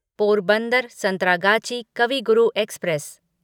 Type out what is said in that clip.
Porbandar Santragachi Kavi Guru express